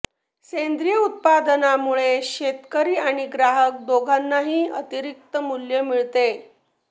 सेंद्रिय उत्पादनांमुळे शेतकरी आणि ग्राहक दोघांनाही अतिरिक्त मूल्य मिळते